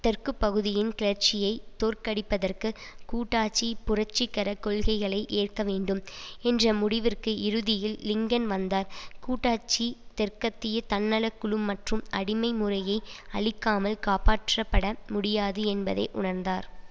தெற்கு பகுதியின் கிளர்ச்சியைத் தோற்கடிப்பதற்கு கூட்டாச்சி புரட்சிகர கொள்கைகளை ஏற்க வேண்டும் என்ற முடிவிற்கு இறுதியில் லிங்கன் வந்தார் கூட்டாச்சி தெற்கத்திய தன்னல குழு மற்றும் அடிமை முறையை அழிக்காமல் காப்பாற்றப்பட முடியாது என்பதை உணர்ந்தார்